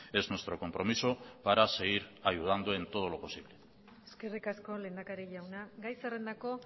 es nuestro compromiso para seguir ayudando en todo lo posible eskerrik asko lehendakari jauna gai zerrendako